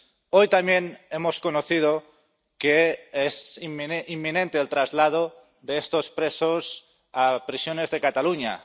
Hoy también hemos conocido que es inminente el traslado de estos presos a prisiones de Cataluña.